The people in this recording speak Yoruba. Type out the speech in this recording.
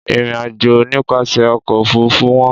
Ìrìnàjò nípasẹ̀ ọkọ̀-òfurufú wọ́n.